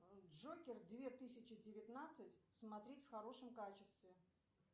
джокер две тысячи девятнадцать смотреть в хорошем качестве